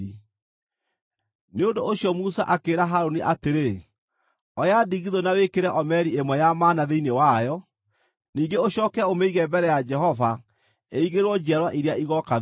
Nĩ ũndũ ũcio Musa akĩĩra Harũni atĩrĩ, “Oya ndigithũ na wĩkĩre omeri ĩmwe ya mana thĩinĩ wayo. Ningĩ ũcooke ũmĩige mbere ya Jehova ĩigĩrwo njiarwa iria igooka thuutha.”